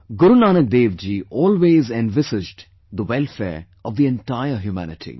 Guru Nanak Dev Ji always envisaged the welfare of entire humanity